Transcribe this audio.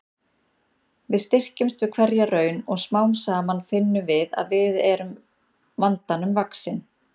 Við styrkjumst við hverja raun og smám saman finnum við að við erum vandanum vaxin.